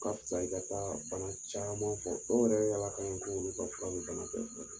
Ka fisa i ka ba banan caman fɔ dɔw yɛrɛ yaala kan ye k'olu ka fura bɛ bana bɛɛ furakɛ